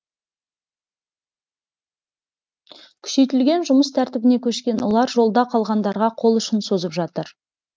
күшейтілген жұмыс тәртібіне көшкен олар жолда қалғандарға қол ұшын созып жатыр